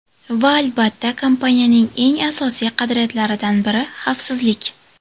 Va albatta, kompaniyaning eng asosiy qadriyatlaridan biri – xavfsizlik!